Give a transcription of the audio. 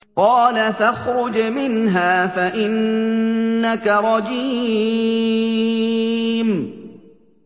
قَالَ فَاخْرُجْ مِنْهَا فَإِنَّكَ رَجِيمٌ